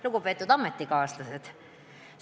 Lugupeetud ametikaaslased!